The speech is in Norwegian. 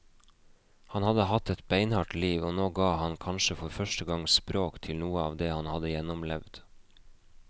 Han hadde hatt et beinhardt liv, og nå ga han kanskje for første gang språk til noe av det han hadde gjennomlevd.